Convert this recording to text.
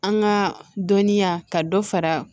An ka dɔnniya ka dɔ fara